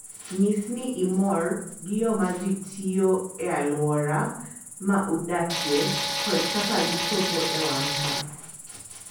Nyis ni imor gi yo ma ji tiyogo e alwora ma udakie kod kaka gichopo e wang' sa.